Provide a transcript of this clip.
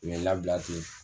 U ye n labila ten.